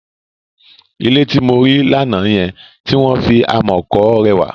Ilé tí mo rí lánàá yẹn, tí wọ́n fi amọ̀ kọ rẹwà.